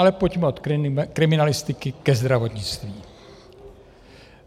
Ale pojďme od kriminalistiky ke zdravotnictví.